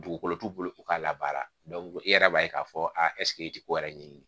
Dugukolo t'u bolo u k'a labaara e yɛrɛ b'a ye k'a fɔ ɛseke i ti ko wɛrɛ ɲɛɲini